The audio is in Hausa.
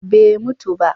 Bai mutu ba